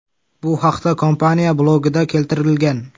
Bu haqda kompaniya blogida keltirilgan .